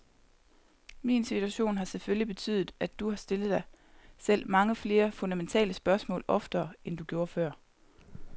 Min situation har selvfølgelig betydet, at du har stillet dig selv mange flere fundamentale spørgsmål oftere, end du gjorde før.